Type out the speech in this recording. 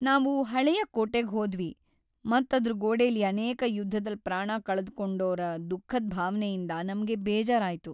ನಾವು ಹಳೆಯ ಕೋಟೆಗ್ ಹೋದ್ವಿ ಮತ್ ಅದ್ರ ಗೋಡೆಲಿ ಅನೇಕ ಯುದ್ಧದಲ್ ಪ್ರಾಣ ಕಳ್ದುಕೊಂಡೋರಾ ದುಃಖದ್ ಭಾವನೆಯಿಂದ ನಮ್ಗೆ ಬೇಜಾರಾಯ್ತು.